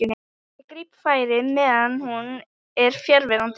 Ég gríp færið meðan hún er fjarverandi.